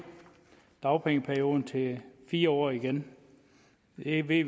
dagpengeperioden til fire år igen ved vi